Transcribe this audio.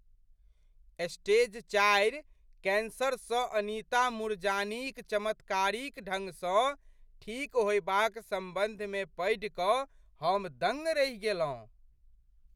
Stage चारि कैंसरसँ अनीता मूरजानीक चमत्कारिक ढङ्गसँ ठीक होयबाक सम्बन्धमे पढ़ि कऽ हम दङ्ग रहि गेलहुँ।